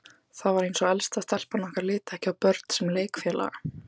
Það var eins og elsta stelpan okkar liti ekki á börn sem leikfélaga.